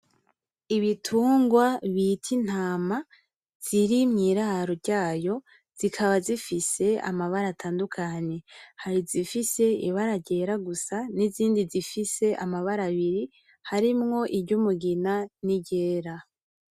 Ibitungwa bita intama ziri mwiraro ryayo zikaba zifise amabara atandukanye, hari izifise ibara ryera gusa nizindi zifise amabara abiri harimwo iryumugina niryera.